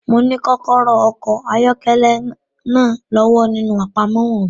Mo ní kọ́kọ́rọ́ okọ̀ ayọ́kẹ́lẹ́ náà lọ́wọ́ nínú àpamọ́wọ́ mi.